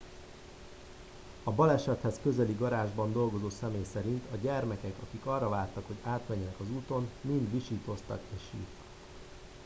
a balesethez közeli garázsban dolgozó személy szerint a gyermekek akik arra vártak hogy átmenjenek az úton mind visítoztak és sírtak